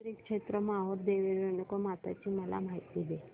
श्री क्षेत्र माहूर देवी रेणुकामाता ची मला माहिती दे